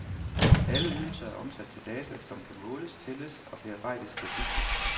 Alle ydelser er omsat til data, som kan måles, tælles og bearbejdes statistisk.